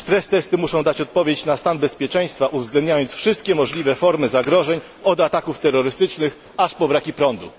Stress testy muszą dać odpowiedź na stan bezpieczeństwa, uwzględniając wszystkie możliwe formy zagrożeń od ataków terrorystycznych aż po braki prądu.